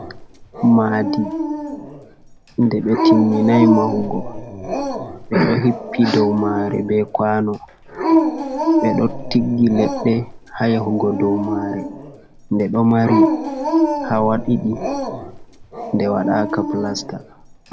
Maadi nde ɓe timminai mahugo. Ɓeɗo hippi dow mare be kwano, beɗo tiggi leɗɗe ha yahugo dow mare. Nde ɗo mari hawa ɗiɗi, nde waɗaka pilasta.